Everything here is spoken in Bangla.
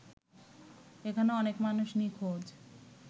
এখনো অনেক মানুষ নিঁখোজ